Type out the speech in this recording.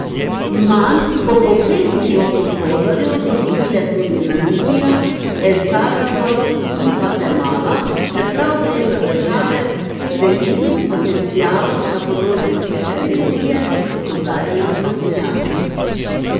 Manj kot po pet milijonov dolarjev so dobile tudi Namibija, El Salvador in Gvatemala, čeprav gre za države z velikim potencialom na področju čiste energije, opozarjajo strokovnjaki.